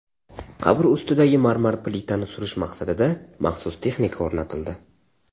Qabr ustidagi marmar plitani surish maqsadida maxsus texnika o‘rnatildi.